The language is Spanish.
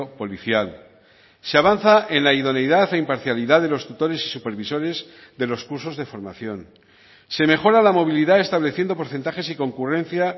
policial se avanza en la idoneidad e imparcialidad de los tutores y supervisores de los cursos de formación se mejora la movilidad estableciendo porcentajes y concurrencia